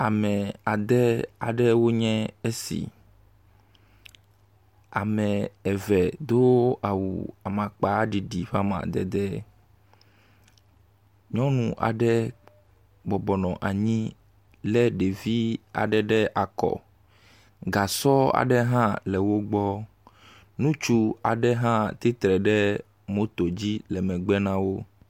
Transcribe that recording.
Ame ade aɖewo nye esi, ame eve do awu amakpaɖiɖi ƒe amadede. Nyɔnu aɖe bɔbɔ nɔ anyi lé ɖevi aɖe ɖe akɔ, gasɔ aɖe hã le wo gbɔ. Ŋutsu aɖe hã tsitre hã ɖe moto le megbe na wo.